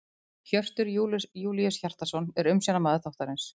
Hjörtur Júlíus Hjartarson er umsjónarmaður þáttarins.